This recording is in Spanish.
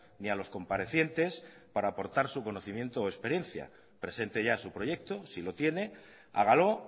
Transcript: ni a los comparecientes para aportar su conocimiento o experiencia presente ya su proyecto si lo tiene hágalo